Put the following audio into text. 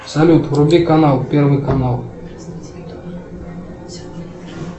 салют вруби канал первый канал